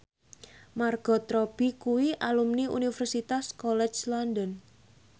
Margot Robbie kuwi alumni Universitas College London